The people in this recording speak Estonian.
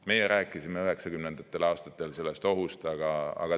Meie rääkisime 1990. aastatel sellest ohust.